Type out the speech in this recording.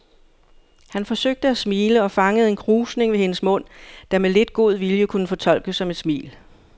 Han forsøgte at smile og fangede en krusning ved hendes mund, der med lidt god vilje kunne fortolkes som et smil.